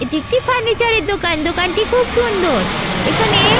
এটি একটি ফার্নিচার -এর দোকান দোকানটি খুব সুন্দর এখানে--